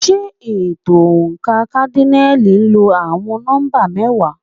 Ṣé ètò oǹkà kádínààlì lo àwọn nọ́mbà mẹ́wàá?